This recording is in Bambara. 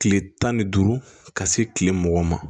Kile tan ni duuru ka se kile mugan ma